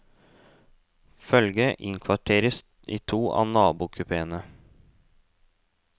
Følget innkvarteres i to av nabokupeene.